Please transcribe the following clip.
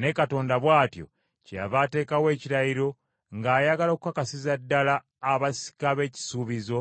Ne Katonda bw’atyo, kyeyava ateekawo ekirayiro ng’ayagala okukakasiza ddala abasika b’ekisuubizo